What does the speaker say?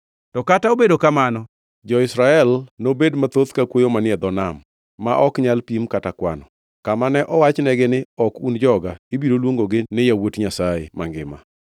“To kata obedo kamano, jo-Israel nobed mathoth ka kwoyo manie dho nam ma ok nyal pim kata kwano. Kama ne owachnegi ni, ‘Ok un joga,’ ibiro luongogi ni ‘yawuot Nyasaye mangima.’